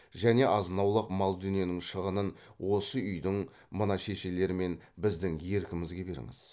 және азын аулақ мал дүниенің шығынын осы үйдің мына шешелер мен біздің еркімізге беріңіз